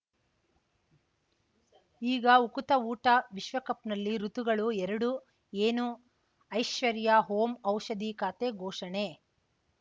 ಈಗ ಉಕುತ ಊಟ ವಿಶ್ವಕಪ್‌ನಲ್ಲಿ ಋತುಗಳು ಎರಡು ಏನು ಐಶ್ವರ್ಯಾ ಓಂ ಔಷಧಿ ಖಾತೆ ಘೋಷಣೆ